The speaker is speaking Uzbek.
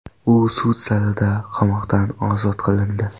U sud zalida qamoqdan ozod qilindi.